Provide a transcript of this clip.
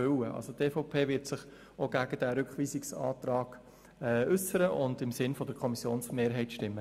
Die EVP wird sich auch gegen diesen Rückweisungsantrag äussern und im Sinn der Kommissionsmehrheit stimmen.